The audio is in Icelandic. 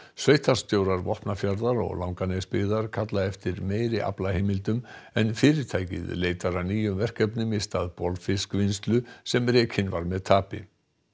sveitarstjórar Vopnafjarðar og Langanesbyggðar kalla eftir meiri aflaheimildum en fyrirtækið leitar að nýjum verkefnum í stað bolfiskvinnslu sem rekin var með tapi